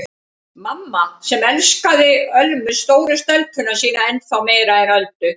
Mamma sem elskaði Ölmu stóru stelpuna sína ennþá meira en Öldu.